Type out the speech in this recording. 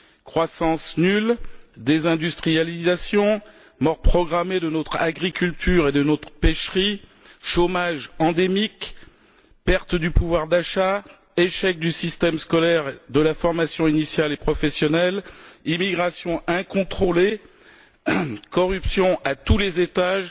Croissance nulle, désindustrialisation, mort programmée de notre agriculture et de notre pêcherie, chômage endémique, perte du pouvoir d'achat, échec du système scolaire et de la formation initiale et professionnelle, immigration incontrôlée, corruption à tous les étages